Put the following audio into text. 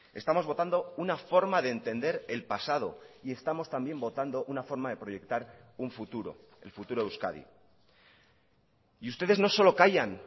estamos votando una forma de entender el pasado y estamos también votando una forma de proyectar un futuro el futuro de euskadi y ustedes no solo callan